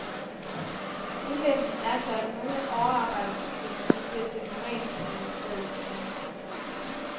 Ulempen er så, at nogle overarbejdstimer nu bliver til normaltimer i stedet, siger han.